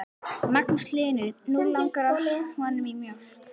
Magnús Hlynur: Nú langar honum í mjólk?